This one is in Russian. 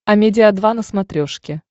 амедиа два на смотрешке